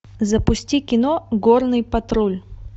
запусти кино горный патруль